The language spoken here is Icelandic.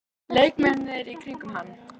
Leikmennina í kringum hann?